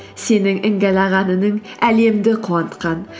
сенің іңгәлаған үнің әлемді қуантқан